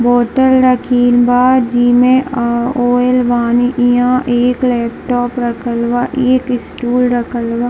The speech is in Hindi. बॉटल रखिल बा जी में अ आयल बानी इहां एक लैपटॉप रखल बा एक स्टूल रखल बा।